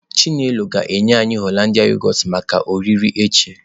Chinelo ga-enye anyi yoghurt Hollandia maka oriri echi.